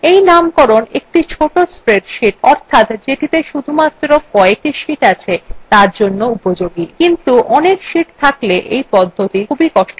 এই নামকরণ একটি ছোট spreadsheet অর্থাৎ যেটিতে শুধুমাত্র কএকটি sheets আছে তার জন্য উপযোগী কিন্তু অনেক sheets থাকলে এই পদ্ধতি খুবই কষ্টসাধ্য